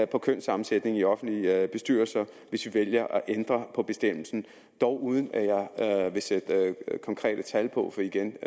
på kønssammensætningen i offentlige bestyrelser hvis vi vælger at ændre på bestemmelsen dog uden at jeg vil sætte konkrete tal på for igen